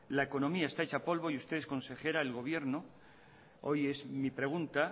la economía está hecha polvo y ustedes consejera el gobierno hoy es mi pregunta